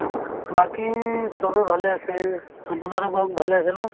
বাকি চবে ভালে আছে আপোনাৰো কওঁক ভালে আছে না